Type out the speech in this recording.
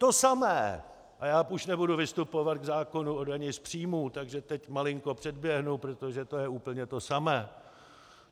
To samé, a já už nebudu vystupovat k zákonu o dani z příjmů, takže teď malinko předběhnu, protože to je úplně to samé.